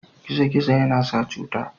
Gizo-gizo yana sa cuta.